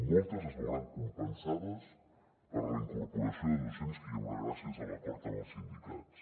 moltes es veuran compensades per la incorporació de docents que hi haurà gràcies a l’acord amb els sindicats